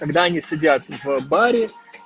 когда они сидят в баре